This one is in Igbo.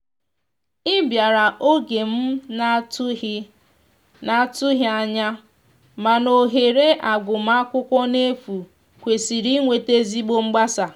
i biara oge m na atu ghi na atu ghi anya mana ohere agụma akwụkwo n'efu kwesiri iweta ezigbo mgbasa.